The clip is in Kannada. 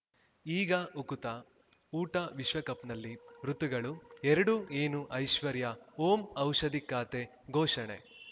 ಈಗ ಉಕುತ ಊಟ ವಿಶ್ವಕಪ್‌ನಲ್ಲಿ ಋತುಗಳು ಎರಡು ಏನು ಐಶ್ವರ್ಯಾ ಓಂ ಔಷಧಿ ಖಾತೆ ಘೋಷಣೆ